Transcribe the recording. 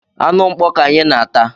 Anụ mkpọ ka anyị na-ata